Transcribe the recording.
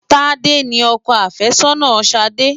Tádé ni ọkọ àfẹ́sọ́nà Ṣadé.